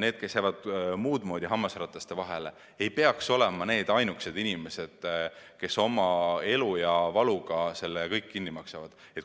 need, kes jäävad muudmoodi hammasrataste vahele –, ei peaks olema ainukesed, kes oma elu ja valuga selle kõik kinni maksavad.